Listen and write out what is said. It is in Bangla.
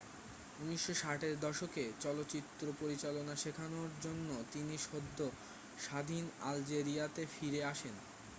1960 এর দশকে চলচ্চিত্র পরিচালনা শেখানোর জন্য তিনি সদ্য স্বাধীন আলজেরিয়াতে ফিরে আসেন